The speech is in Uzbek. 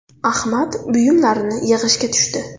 Ahmad buyumlarini yig‘ishga tushdi.